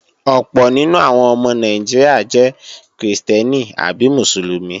Ọ̀pọ̀ nínú àwọn ọmọ Nàìjíríà jẹ́ krìstẹ́nì àbí Mùsùlùmí